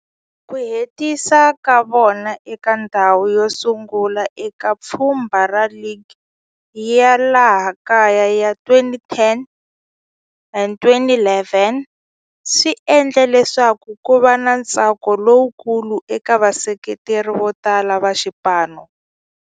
Ku hetisa ka vona eka ndzhawu yosungula eka pfhumba ra ligi ya laha kaya ya 2010 and 2011 swi endle leswaku kuva na ntsako lowukulu eka vaseketeri votala va xipano.